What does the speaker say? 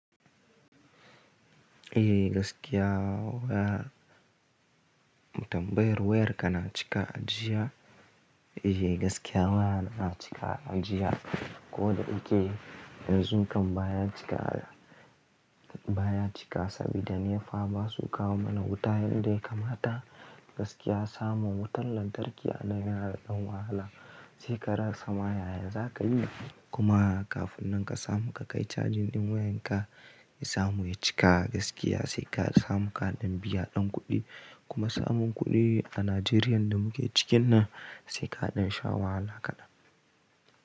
Eh gaskiya wayar, wutan, bayar wayar ka na cika a jiya. Eh gaskiya wayana na cika a jiya ko da in ke yanzun kam baya cika, baya cika saboda NEPA basu kawo mana wuta yadda ya kamata. Gaskiya samun wutan lantarki a nan yana da wahala sai ka rasa ma yaya za ka yi. Kuma kafin nan ka samu ka kai charging ɗin wayan ka, ya samu ya cika gaskiya sai ka samu kaɗan biya ɗan kuɗi kuma samun kuɗi a Najeriya da muke cikin nan sai kaɗa shawa wahala kaɗan.